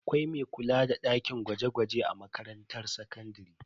Akwai mai kula da dakin gwaje-gwaje a makarantar sakandare.